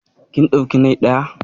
Kin ɗauki nai na?